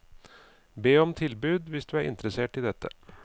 Be om tilbud hvis du er interessert i dette.